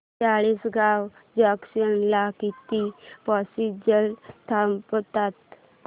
Chalisgaon junction ला किती passengers थांबतात